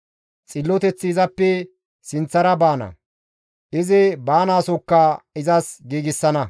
Xilloteththi izappe sinththara baana; izi baanaasokka izas giigsana.